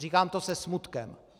Říkám to se smutkem.